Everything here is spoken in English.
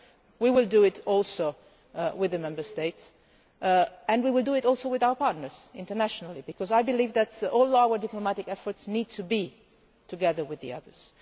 We will do it also with the Member States and we will do it also with our partners internationally, because I believe that all our diplomatic efforts need to be made together with the others.